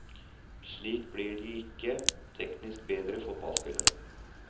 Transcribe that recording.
Slik blir de ikke teknisk bedre fotballspillere.